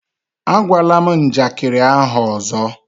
Ágwala m njakịrị ahụ ọzọ!